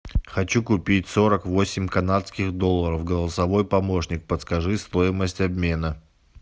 хочу купить сорок восемь канадских долларов голосовой помощник подскажи стоимость обмена